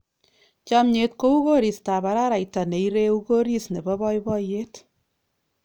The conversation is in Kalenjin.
Chomnyet kou koristab araraita ne ireu koris nebo boiboiyet.